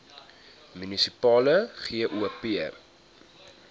munisipale gop